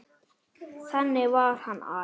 Þannig var hann afi.